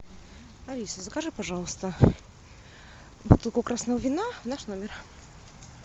алиса закажи пожалуйста бутылку красного вина в наш номер